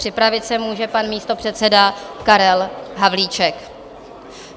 Připravit se může pan místopředseda Karel Havlíček.